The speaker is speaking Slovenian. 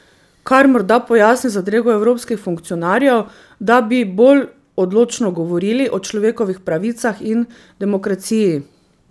Kar morda pojasni zadrego evropskih funkcionarjev, da bi bolj odločno govorili o človekovih pravicah in demokraciji.